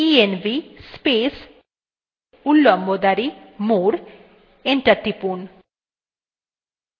terminal এ লিখুন